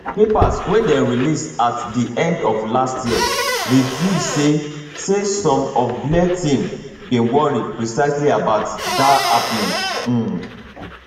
papers wey dem release at di end of last year reveal say say some of blair team bin worry precisely about dat happening um